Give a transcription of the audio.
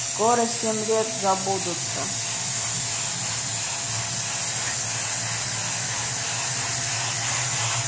скоро семь лет забудутся